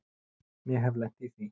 Ég hef lent í því.